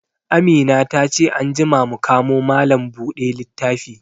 Amina ta ce anjima mu kamo malam bude littafi